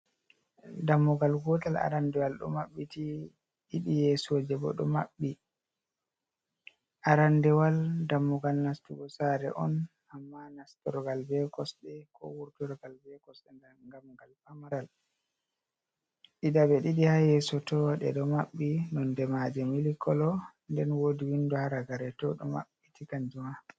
Dammugal gootal arandewal ɗo maɓɓiti, ɗiɗi yesooje bo ɗo maɓɓi. Arandewal dammugal nastugo saare on, amma nastorgal be kosɗe, ko wurtorgal be kosde. Dammugal pamaral ha yeeso to ɗe ɗo mabbi. Nonde maaje milk color. Nden woodi window ha ragare to ɗo mabbiti kanjum ma.